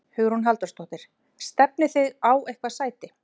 Hugrún Halldórsdóttir: Stefnið þið á eitthvað sæti?